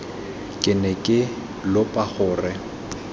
ke ne ke lopa gore